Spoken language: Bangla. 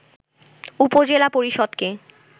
উপজেলা পরিষদকে